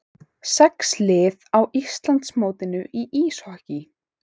Sex lið á Íslandsmótinu í íshokkíi